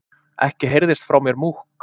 Ekki heyrðist frá mér múkk.